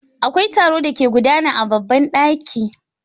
Akwai taro da ke gudana a babban daki.